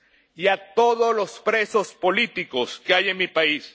y a todos los presos políticos que hay en mi país.